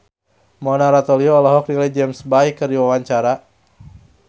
Mona Ratuliu olohok ningali James Bay keur diwawancara